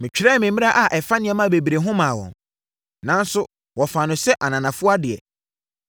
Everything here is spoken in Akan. Metwerɛɛ me mmara a ɛfa nneɛma bebree ho maa wɔn, nanso wɔfaa no sɛ ananafoɔ adeɛ.